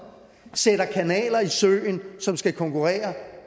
sætter kanaler i søen som skal konkurrere